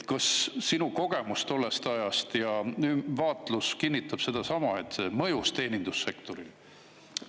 Kas sinu kogemus tollest ajast ja vaatlus kinnitab sedasama, et see mõjus teenindussektorile?